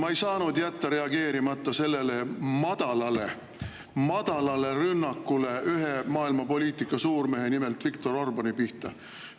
Ma ei saanud jätta reageerimata sellele madalale rünnakule ühe maailmapoliitika suurmehe, nimelt Viktor Orbáni pihta.